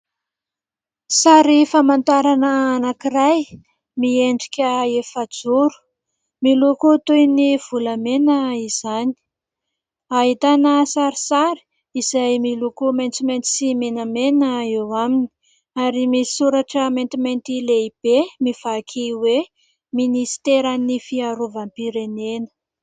Sary famantarana anankiray miendrika efajoro, miloko toy ny volamena izany, ahitana sarisary izay miloko maintsomaintso sy menamena eo aminy, ary misoratra maintimainty lehibe mivaky hoe ministeran'ny fiarovam-pirenena.